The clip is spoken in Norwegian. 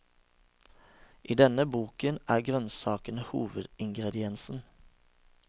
I denne boken er grønnsakene hovedingrediensen.